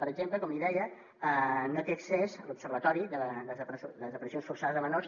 per exemple com li deia no té accés a l’observatori de desaparicions forçades de menors